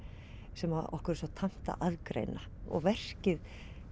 sem okkur er svo tamt að aðgreina og verkið